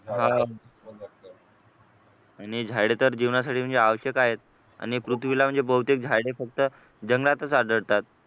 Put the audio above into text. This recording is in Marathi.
आणि झाडे तर जीवनासाठी म्हणजे आवश्यक आहे आणि पृथ्वीला म्हणजे बहुतेक झाडे फक्त जंगलातच आढळतात